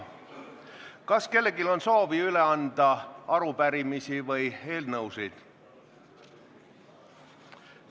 Kas kellelgi on soovi üle anda arupärimisi või eelnõusid?